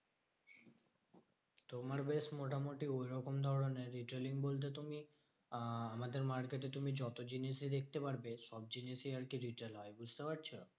তোমার বেশ মোটামুটি অন্য রকম ধরণের। retailing বলতে তুমি আহ আমাদের market এ তুমি যত জিনিসই দেখতে পারবে, সব জিনিসই আরকি retail হয়। বুঝতে পারছো?